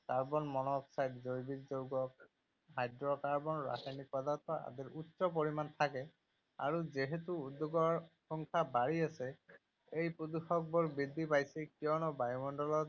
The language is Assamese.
কাৰ্বন মনোক্সাইড, জৈৱিক যৌগ, হাইড্ৰ’কাৰ্বন, ৰাসায়নিক পদাৰ্থ আদিৰ উচ্চ পৰিমাণ থাকে। আৰু যিহেতু উদ্যোগৰ সংখ্যা বাঢ়ি আছে, এই প্ৰদূষকবোৰ বৃদ্ধি পাইছে কিয়নো বায়ুমণ্ডলত